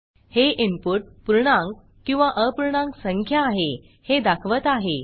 हे इनपुट पूर्णांक किंवा अपूर्णांक संख्या आहे हे दाखवत आहे